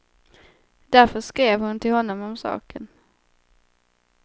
Därför skrev hon till honom om saken.